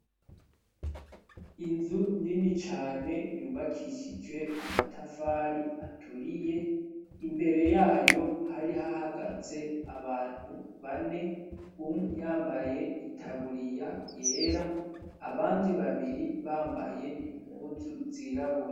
Inzu nini cane yubakishijwe amatafari aturiye, imbere yayo hari hahagaze abantu bane, umwe yambaye itaburiya yera abandi babiri bambaye impuzu zirabura.